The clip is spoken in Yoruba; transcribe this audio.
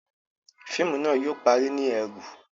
Fíìmù náà yóò parí ni ẹru